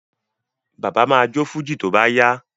Bàbá ma jó fújì tó bá yá